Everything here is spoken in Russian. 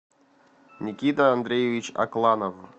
никита андреевич акланов